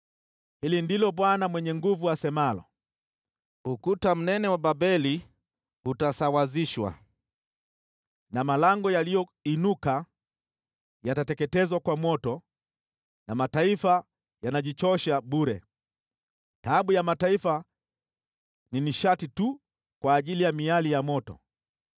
Hili ndilo Bwana Mwenye Nguvu Zote asemalo: “Ukuta mnene wa Babeli utasawazishwa, na malango yaliyoinuka yatateketezwa kwa moto; mataifa yanajichosha bure, taabu ya mataifa ni nishati tu ya miali ya moto.”